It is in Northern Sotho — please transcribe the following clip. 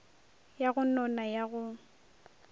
ya go nona ya go